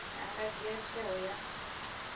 a nga dzhia tsheo ya